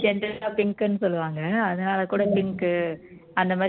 genders of pink ன்னு சொல்லுவாங்க அதனால கூட pink உ அந்த மாதிரி